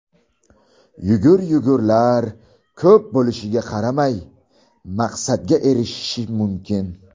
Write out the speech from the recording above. Yugur-yugurlari ko‘p bo‘lishiga qaramay, maqsadga erishish mumkin.